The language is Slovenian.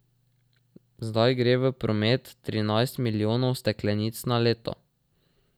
Zdaj gre v promet trinajst milijonov steklenic na leto.